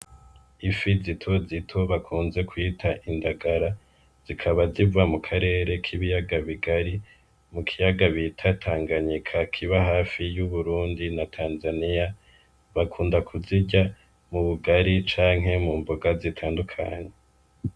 Ifi zito zitobakunze kuyita indagara zikaba ziva mu karere k'ibiyaga bigari mu kiyaga biitatanganyika kiba hafi y'uburundi na tanzaniya bakunda kuzirya mu bugari canke mu mbuga zitandukanye.